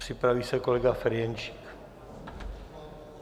Připraví se kolega Ferjenčík.